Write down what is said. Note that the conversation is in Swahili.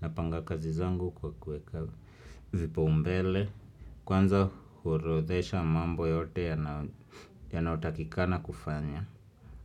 Napanga kazi zangu kwa kuweka vipaumbele Kwanza huorodhesha mambo yote yanayotakikana kufanya.